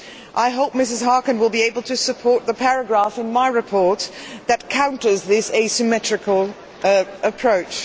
I hope Mrs Harkin will be able to support the paragraph in my report that counters this asymmetrical approach.